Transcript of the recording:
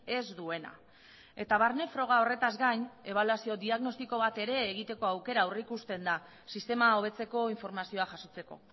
ez duena eta barne froga horretaz gain ebaluazio diagnostiko bat ere egiteko aukera aurreikusten da sistema hobetzeko informazioa jasotzeko